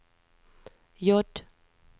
J